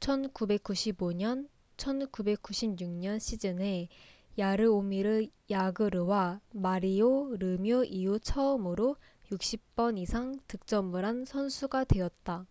1995-1996년 시즌에 야르오미르 야그르와 마리오 르뮤 이후 처음으로 60번 이상 득점을 한 선수가 되었다